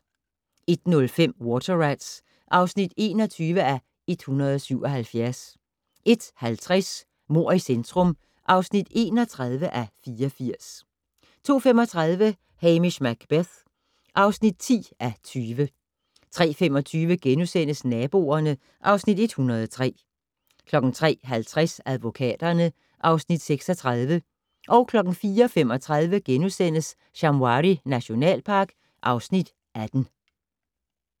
01:05: Water Rats (21:177) 01:50: Mord i centrum (31:84) 02:35: Hamish Macbeth (10:20) 03:25: Naboerne (Afs. 103)* 03:50: Advokaterne (Afs. 36) 04:35: Shamwari nationalpark (Afs. 18)*